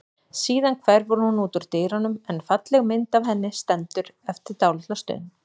Síðan hverfur hún út úr dyrunum en falleg mynd af henni stendur eftir dálitla stund.